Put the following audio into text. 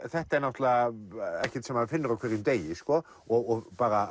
þetta er náttúrulega ekkert sem maður finnur á hverjum degi og bara